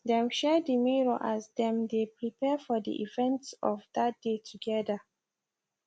dem share the mirror as dem dae prepare for the events of that day together